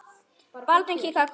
Baldvin kinkaði kolli.